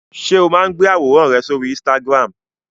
Ṣé o máa ń gbé àwòrán rẹ sóri Instagram?